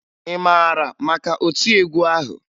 Ị mara maka otiegwu ahụ?